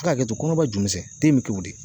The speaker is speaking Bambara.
A' ka hakɛto kɔnɔba ju misɛn den be k'o de ye.